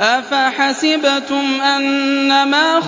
أَفَحَسِبْتُمْ أَنَّمَا